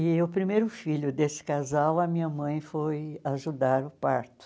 E o primeiro filho desse casal, a minha mãe, foi ajudar o parto.